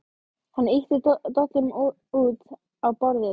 Hann ýtti dollunum út á borðið.